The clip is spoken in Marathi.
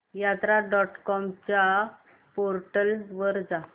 यात्रा डॉट कॉम च्या पोर्टल वर जा